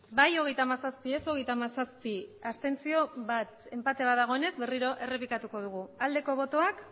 bai hogeita hamazazpi ez hogeita hamazazpi abstentzioak bat enpate bat dagoenez berriro errepikatuko dugu aldeko botoak